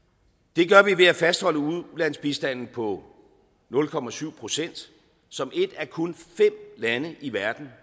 det gør vi ved at fastholde ulandsbistanden på nul procent procent som et af kun fem lande i verden